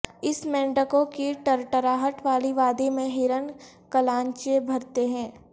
اس مینڈکوں کی ٹرٹراہٹ والی وادی میں ہرن کلانچیں بھرتے تھے